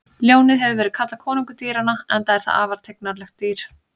Ljónið hefur verið kallað konungur dýranna enda er það afar tignarlegt dýr.